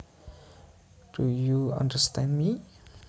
Do you understand me